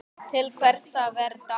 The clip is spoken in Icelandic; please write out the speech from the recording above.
Til hvers að vera dapur?